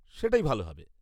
সেটাই ভালো হবে।